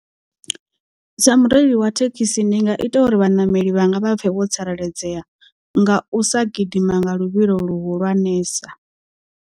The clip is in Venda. Sa mureili wa thekhisi ndi nga ita uri vhaṋameli vhanga vha pfhe vho tsireledzea nga u sa gidima nga luvhilo luhulwanesa.